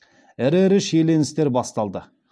ірі ірі шиеленістер басталды